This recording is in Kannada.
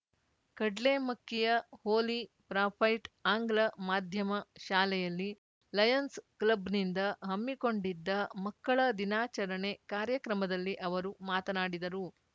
ಕಡ್ಲೇಮಕ್ಕಿಯ ಹೋಲಿ ಪ್ರಾಫೈಟ್‌ ಆಂಗ್ಲ ಮಾಧ್ಯಮ ಶಾಲೆಯಲ್ಲಿ ಲಯನ್ಸ್‌ ಕ್ಲಬ್‌ನಿಂದ ಹಮ್ಮಿಕೊಂಡಿದ್ದ ಮಕ್ಕಳ ದಿನಾಚರಣೆ ಕಾರ್ಯಕ್ರಮದಲ್ಲಿ ಅವರು ಮಾತನಾಡಿದರು